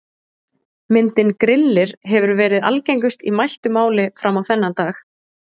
Myndin Grillir hefur verið algengust í mæltu máli fram á þennan dag.